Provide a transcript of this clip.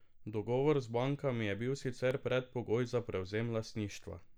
Dogovor z bankami je bil sicer predpogoj za prevzem lastništva.